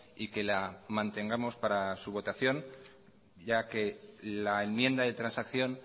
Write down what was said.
y que la mantengamos para su votación ya que la enmienda de transacción